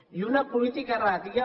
i una política erràtica